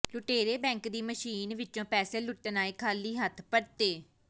ਲੁਟੇਰੇ ਬੈਂਕ ਦੀ ਮਸ਼ੀਨ ਵਿੱਚੋਂ ਪੈਸੇ ਲੁੱਟਣ ਆਏ ਖਾਲੀ ਹੱਥ ਪਰਤੇ